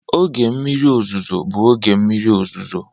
Oge mmiri ọzụzụ bụ oge mmiri ọzụzụ.